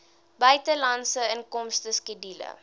buitelandse inkomste skedule